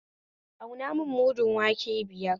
Auna mun mudun wake biyar